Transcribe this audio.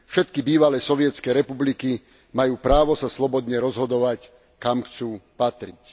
Všetky bývalé sovietske republiky majú právo sa slobodne rozhodovať kam chcú patriť.